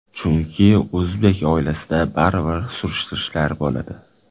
Chunki, o‘zbek oilasida baribir surishtirishlar bo‘ladi.